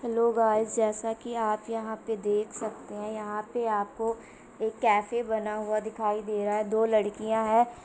Hello guys जैसा कि आप यहां पे देख सकते हैं यहां पे आपको एक कैफे बना हुआ दिखाई दे रहा है। दो लड़कियां है।